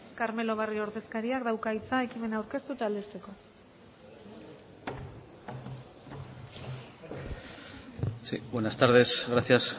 carmelo barrio ordezkariak dauka hitza ekimena aurkeztu eta aldezteko sí buenas tardes gracias